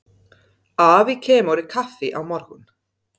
Afi kemur í kaffi á morgun.